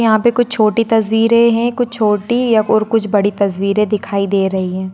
यहां पे कुछ छोटी तस्वीरे है कुछ छोटी और कुछ बड़ी तस्वीरे दिखाई दे रही है।